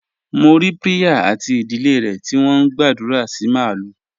Mo rí Priya àti ìdílé rẹ̀ tí wọ́n ń gbàdúrà sí màlúù.